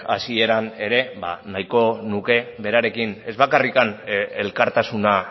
hasieran ere nahiko nuke berarekin ez bakarrik elkartasuna